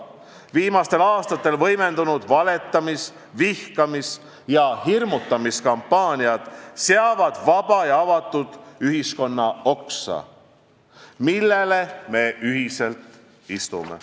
Viimastel aastatel võimendunud valetamise, vihkamise ja hirmutamise kampaaniad saevad vaba ja avatud ühiskonna oksa, millel me kõik koos istume.